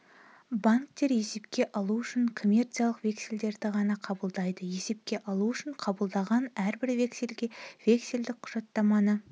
банктер есепке алу үшін коммерциялық вексельдерді ғана қабылдайды есепке алу үшін қабылдаған әрбір вексельге вексельдік құжаттаманы